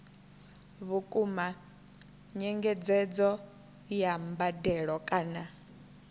vhukuma nyengedzedzo ya mbadelo kana